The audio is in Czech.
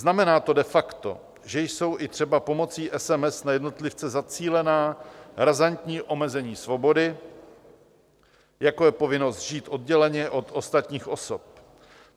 Znamená to de facto, že jsou i třeba pomocí SMS na jednotlivce zacílená razantní omezení svobody, jako je povinnost žít odděleně od ostatních osob.